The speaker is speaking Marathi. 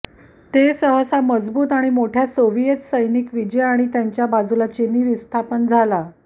ते सहसा मजबूत आणि मोठ्या सोव्हिएत सैनिक विजय आणि त्यांच्या बाजूला चीनी विस्थापन झाला